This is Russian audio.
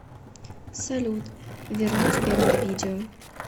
салют вернуть первое видео